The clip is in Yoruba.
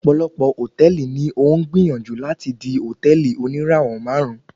Ọ̀pọ̀lọpọ̀ Hòtẹ́ẹ̀lì ni ó ń gbìyànjú láti di hòtẹ́ẹ̀lì oníràwọ̀ máàrún.